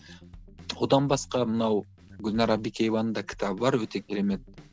одан басқа мынау гүлнәр әбдікееваның да кітабы бар өте керемет